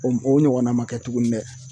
O o ɲɔgɔnna ma kɛ tuguni dɛ